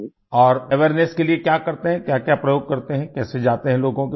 और अवेयरनेस के लिए क्या करते हैं क्याक्या प्रयोग करते हैं कैसे जाते हैं लोगों के पास